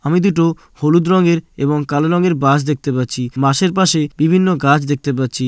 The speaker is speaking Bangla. আমি দুটো হলুদ রঙের এবং কালো রঙের বাস দেখতে পাচ্ছি। বাসের পাশে বিভিন্ন গাছ দেখতে পাচ্ছি।